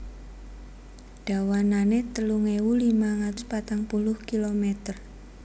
Dawanané telung ewu limang atus patang puluh kilomèter